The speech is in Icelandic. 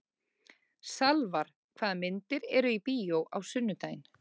Salvar, hvaða myndir eru í bíó á sunnudaginn?